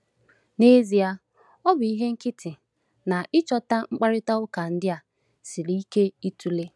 N’ezie, ọ bụ ihe nkịtị na ịchọta mkparịta ụka ndị a siri ike ịtụle.